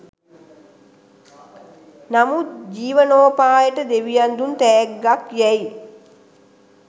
නමුත් ජීවනෝපායට දෙවියන් දුන් තෑග්ගක් යැයි